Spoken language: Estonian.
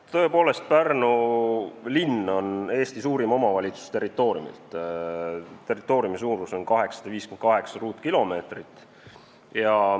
Tõepoolest, Pärnu linn on territooriumilt Eesti suurim omavalitsus, territooriumi suurus on 858 ruutkilomeetrit.